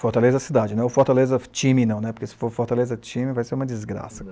Fortaleza cidade, não é o Fortaleza time não, porque se for Fortaleza time vai ser uma desgraça.